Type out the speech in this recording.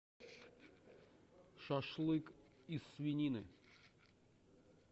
шашлык из свинины